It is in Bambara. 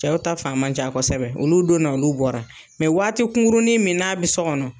Cɛw ta fan ma ca kɔsɔbɛ .Olu donna na, olu bɔra . waati kunkuruni min n'a bi so kɔnɔ